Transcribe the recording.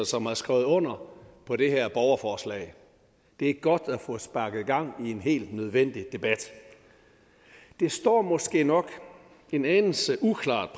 som har skrevet under på det her borgerforslag det er godt at få sparket gang i en helt nødvendig debat det står måske nok en anelse uklart